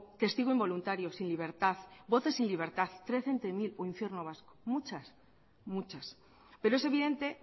testigo involuntario sin libertad voces sin libertad trece entre mil o infierno vasco muchas muchas pero es evidente